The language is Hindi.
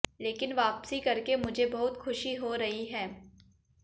लेकिन वापसी करके मुझे बहुत खुशी हो रही है